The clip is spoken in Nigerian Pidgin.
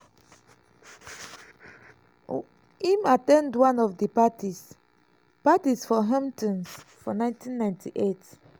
im at ten d one of di parties parties for hamptons for 1998.